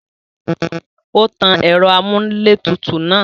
Ó tan ẹ̀rọ-amúlétutù náà.